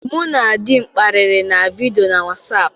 Mụ na di m kparịrị na vidio na wasap.